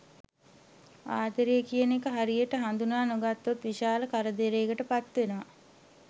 ආදරය කියන එක හරියට හඳුනා නොගත්තොත් විශාල කරදරයකට පත්වෙනවා.